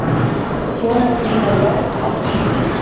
Svo má brýna járn að bíti.